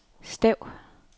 stav